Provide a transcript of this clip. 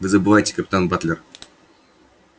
вы забываетесь капитан батлер